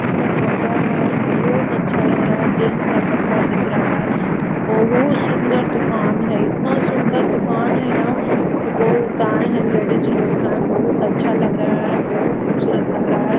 इसका कपड़ा है बहुत अच्छा लग रहा है जेंट्स का कपड़ा बिक रहा बहुत सुंदर दुकान है इतना सुंदर दुकान है ना ए बहुत आये हैं लेडीज लोग हैं बहुत अच्छा लग रहें हैं बहुत खुबसुरत लग रहा है।